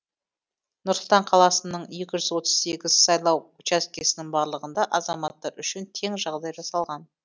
нұр сұлтан қаласының екі жүз отыз сегіз сайлау учаскесінің барлығында азаматтар үшін тең жағдай жасалған